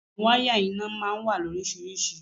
Àwọn ìwọ̀n wáyà iná máa ń wà ní oríṣiríṣi.